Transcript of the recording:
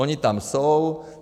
Oni tam jsou.